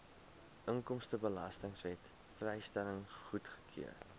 inkomstebelastingwet vrystelling goedgekeur